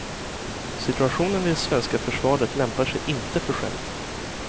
Situationen i det svenska försvaret lämpar sig inte för skämt.